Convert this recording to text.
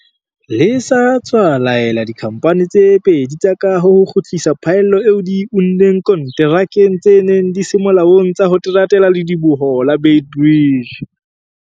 Le sa tswa laela dikhamphane tse pedi tsa kaho ho kgutlisa phaello eo di e unneng konterakeng tse neng di se molaong tsa ho teratela ledibohong la Beit Bridge.